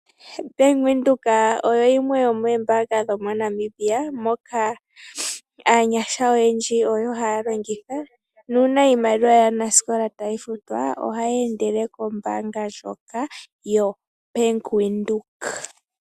Bank Windhoek oyo yimwe yo moombaanga dho moNamibia, moka aanyasha oyendji oyo haa longitha, nuuna iimaliwa yaanasikola tayi futwa, ohayi endele kombaanga ndjoka yoBank Windhoek.